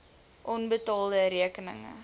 onbetaalde rekeninge